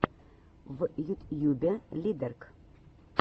в ютьюбе лидэрк